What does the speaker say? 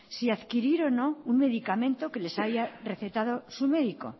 si adquirir o no un medicamento que les haya recetado su médico